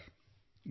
ಹೌದು ಸರ್